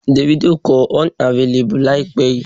Davido kọ 'Unavailable' láìpẹ́ yìí.